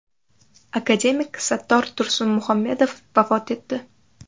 Akademik Sattor Tursunmuhammedov vafot etdi.